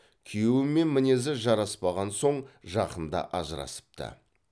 күйеуімен мінезі жараспаған соң жақында ажырасыпты